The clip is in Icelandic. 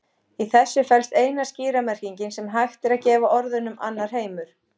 Í þessu felst eina skýra merkingin sem hægt er að gefa orðunum annar heimur.